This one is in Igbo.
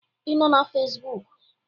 Ị nọ na Facebook?